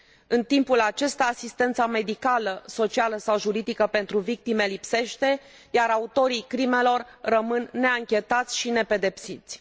În timpul acesta, asistența medicală, socială sau juridică pentru victime lipsește, iar autorii crimelor rămân neanchetați și nepedepsiți.